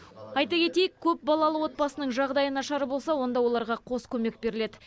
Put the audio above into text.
айта кетейік көпбалалы отбасының жағдайы нашар болса онда оларға қос көмек беріледі